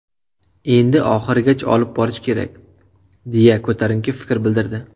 Endi oxirigacha olib borish kerak”, deya ko‘tarinki fikr bildirdi.